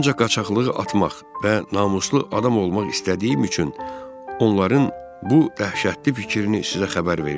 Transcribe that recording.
Ancaq qaçaqlığı atmaq və namuslu adam olmaq istədiyim üçün onların bu dəhşətli fikrini sizə xəbər verirəm.